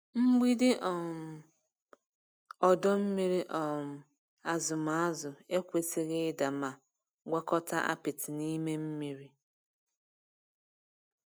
Mgbidi um ọdọ mmiri um azụm azụ ekwesịghị ịda ma gwakọta apịtị n'ime mmiri.